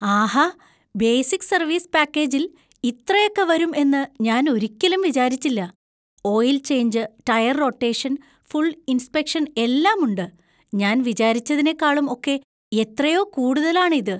ആഹാ! Basic service പാക്കേജിൽ ഇത്രയൊക്കെ വരും എന്ന് ഞാൻ ഒരിക്കലും വിചാരിച്ചില്ല. Oil change, tyre rotation, full inspection എല്ലാം ഉണ്ട്! ഞാൻ വിചാരിച്ചതിനെക്കാളും ഒക്കെ എത്രയോ കൂടുതലാണ് ഇത്!